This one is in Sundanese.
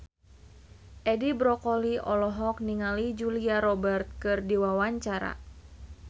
Edi Brokoli olohok ningali Julia Robert keur diwawancara